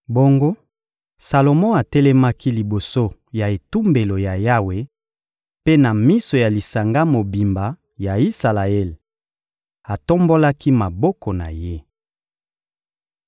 Bongo Salomo atelemaki liboso ya etumbelo ya Yawe; mpe na miso ya lisanga mobimba ya Isalaele, atombolaki maboko na ye.